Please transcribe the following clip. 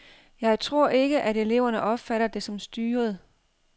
Jeg tror ikke, at eleverne opfatter det som styret.